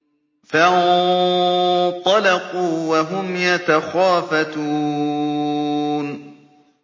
فَانطَلَقُوا وَهُمْ يَتَخَافَتُونَ